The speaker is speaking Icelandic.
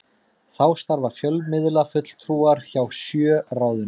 Þá starfa fjölmiðlafulltrúar hjá sjö ráðuneytum